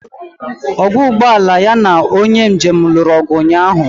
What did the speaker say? Ọgwọ ụgbụ ala ya na onye njem lụrụ ọgụ ụnyaahụ.